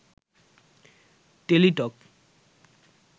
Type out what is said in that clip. Teletalk